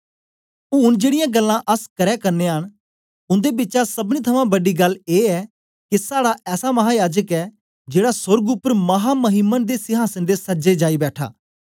ऊन जेड़ीयां गल्लां अस करै करनयां न उन्दे बिचा सबनी थमां बड़ी गल्ल ए ऐ के साड़ा ऐसा महायाजक ऐ जेड़ा सोर्ग उपर महामहीमन दे सिहांसन दे सज्जे जाई बैठा